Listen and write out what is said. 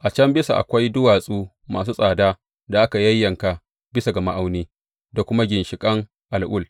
A can bisa akwai duwatsu masu tsada da aka yayyanka bisa ga ma’auni, da kuma ginshiƙan al’ul.